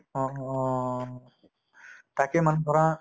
অহ । তাকে মানে ধৰা